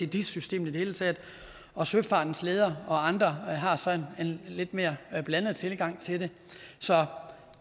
dis systemet i det hele taget og søfartens ledere og andre har så en lidt mere blandet tilgang til det så